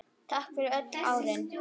Takk fyrir öll árin.